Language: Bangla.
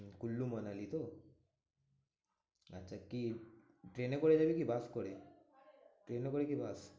কুল্লু মানালি তো? আচ্ছা কি ট্রেনে করে যাবি? কি বাস করে? ট্রেনে করে কি বাস?